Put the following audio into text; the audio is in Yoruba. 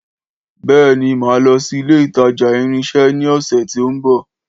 Béèni, Mà lọsi ilé ìtajà ìrìn isé ní ọ̀sẹ̀ tí o nbọ̀